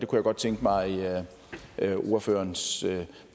godt tænke mig ordførerens